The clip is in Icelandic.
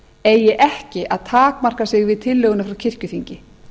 eigi ekki að takmarka sig við tillöguna frá kirkjuþingi